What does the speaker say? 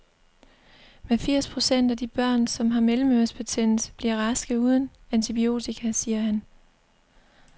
Men firs procent af de børn, som har mellemørebetændelse, bliver raske uden antibiotika, siger han.